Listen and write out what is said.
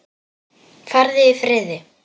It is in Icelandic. Farðu í friði.